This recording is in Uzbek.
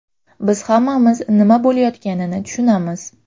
Biz hammamiz nima bo‘layotganini tushunamiz.